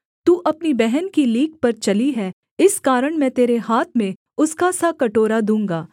तू अपनी बहन की लीक पर चली है इस कारण मैं तेरे हाथ में उसका सा कटोरा दूँगा